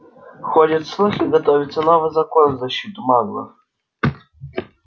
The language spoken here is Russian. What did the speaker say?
ходят слухи готовится новый закон в защиту маглов